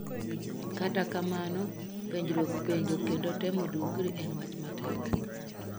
Kata kamano, penjruok penjo kendo temo duokri en wach matek.